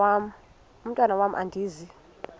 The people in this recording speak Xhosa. mntwan am andizi